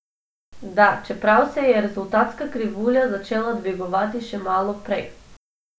Da, čeprav se je rezultatska krivulja začela dvigovati že malo prej.